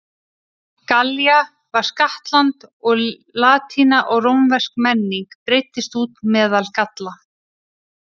Gallía varð skattland og latína og rómversk menning breiddist út meðal Galla.